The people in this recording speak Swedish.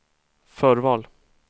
förval